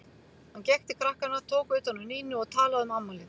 Hann gekk til krakkanna, tók utan um Nínu og talaði um afmælið.